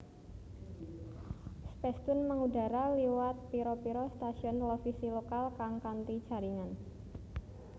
Spacetoon mengudara liwat pira pira stasiun televisi lokal kang kanti jaringan